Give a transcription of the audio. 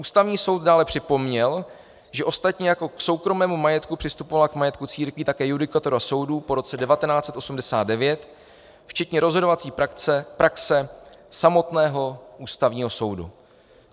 Ústavní soud dále připomněl, že ostatně jako k soukromému majetku přistupovala k majetku církví také judikatura soudu po roce 1989 včetně rozhodovací praxe samotného Ústavního soudu.